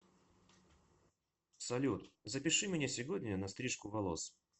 салют запиши меня сегодня на стрижку волос